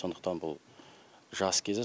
сондықтан бұл жас кезі